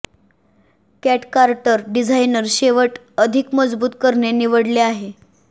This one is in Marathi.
कॅट कार्टर डिझाइनर शेवट अधिक मजबूत करणे निवडले आहे